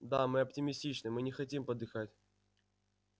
да мы оптимистичны мы не хотим подыхать